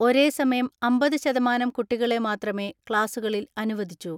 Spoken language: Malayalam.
ഒരേസമയം അമ്പത് ശതമാനം കുട്ടികളെ മാത്രമേ ക്ലാസുകളിൽ അനുവദിച്ചു.